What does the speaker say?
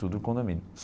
Tudo no condomínio.